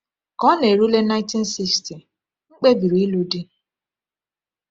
Ka ọ na-erule 1960, m kpebiri ịlụ di.